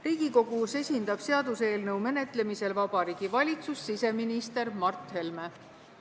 Riigikogus esindab seaduseelnõu menetlemisel Vabariigi Valitsust siseminister Mart Helme.